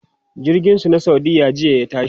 jirgin su na saudiya jiya ta tashi